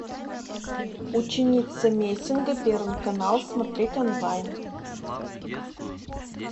ученица мессинга первый канал смотреть онлайн